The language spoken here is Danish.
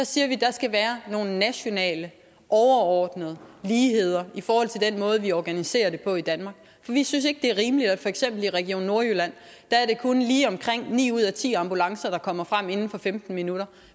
siger at der skal være nogle nationale overordnede ligheder i forhold til den måde vi organiserer det på i danmark for vi synes ikke det er rimeligt at det for eksempel i region nordjylland kun er lige omkring ni ud af ti ambulancer der kommer frem inden for femten minutter